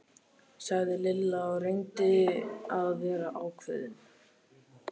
sagði Lilla og reyndi að vera ákveðin.